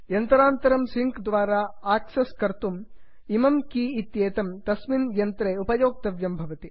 यन्त्रान्तरं sync द्वारा access कर्तुम् इमं की इत्येतं तस्मिन् यन्त्रे उपयोक्तव्यं भवति